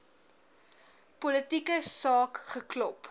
politieke saak geklop